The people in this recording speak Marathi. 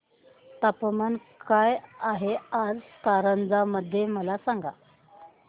तापमान काय आहे आज कारंजा मध्ये मला सांगा